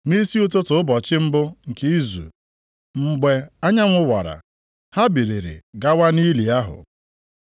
Nʼisi ụtụtụ ụbọchị mbụ nke izu, mgbe anyanwụ wara, ha biliri gawa nʼili ahụ.